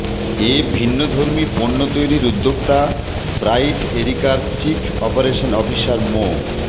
এ ভিন্নধর্মী পণ্য তৈরির উদ্যোক্তা ব্রাইট এরিকার চিফ অপারেশন অফিসার মো